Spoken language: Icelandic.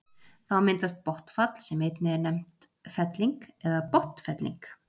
þá myndast botnfall sem einnig er nefnt felling eða botnfelling